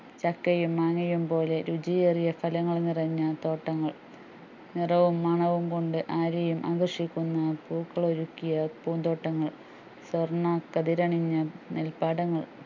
ചക്കയും മാങ്ങയും പോലെ രുചിയേറിയ ഫലങ്ങൾ നിറഞ്ഞ തോട്ടങ്ങൾ നിറവും മണവും കൊണ്ട് ആരെയുംആകർഷിക്കുന്ന പൂക്കൾഒരുകിയ പൂന്തോട്ടങ്ങൾ വർണ്ണകതിരണിഞ്ഞ നെൽപ്പാടങ്ങൾ